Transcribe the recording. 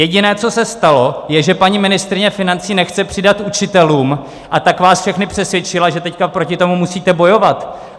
Jediné, co se stalo, je, že paní ministryně financí nechce přidat učitelům, a tak vás všechny přesvědčila, že teďka proti tomu musíte bojovat.